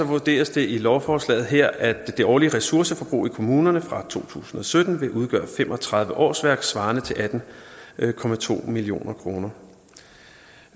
vurderes det i lovforslaget her at det årlige ressourceforbrug i kommunerne fra to tusind og sytten vil udgøre fem og tredive årsværk svarende til atten million kroner